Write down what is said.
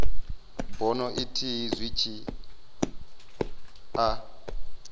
bono ithihi zwi tshi a